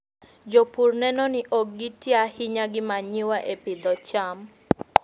Jopur neno ni ok giti ahinya gi manyiwa e pidho cham.